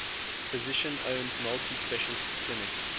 physician owned multi specialty clinic